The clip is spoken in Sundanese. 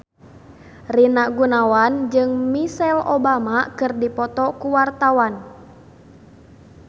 Rina Gunawan jeung Michelle Obama keur dipoto ku wartawan